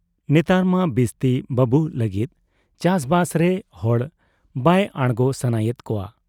ᱱᱮᱛᱟᱨ ᱢᱟ ᱵᱤᱥᱛᱤ ᱵᱟᱹᱵᱩᱜ ᱞᱟᱹᱜᱤᱫ ᱪᱟᱥᱵᱟᱥᱨᱮ ᱦᱚᱲ ᱵᱟᱭ ᱟᱬᱜᱚ ᱥᱟᱱᱟᱭᱮᱫ ᱠᱚᱣᱟ ᱾